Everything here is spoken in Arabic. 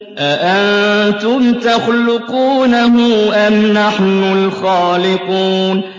أَأَنتُمْ تَخْلُقُونَهُ أَمْ نَحْنُ الْخَالِقُونَ